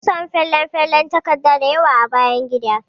Mun samu falen falen takarda dayawa a bayan gidan.